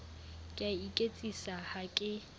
ke a iketsisa ha ke